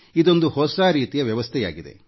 ಇದೊಂದು ಹೊಸ ರೀತಿಯ ವ್ಯವಸ್ಥೆಯಾಗಿದೆ